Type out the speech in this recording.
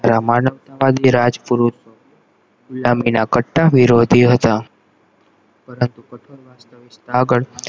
માનવતા મા જે રાજપુરુષો ફીરોધી હતા પરંતુ